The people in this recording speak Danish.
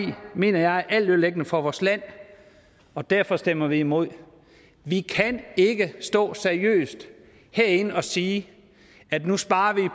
mener jeg er altødelæggende for vores land og derfor stemmer vi imod vi kan ikke stå seriøst herinde og sige at nu sparer vi